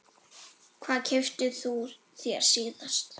Hvað keyptir þú þér síðast?